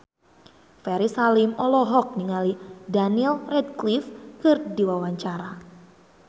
Ferry Salim olohok ningali Daniel Radcliffe keur diwawancara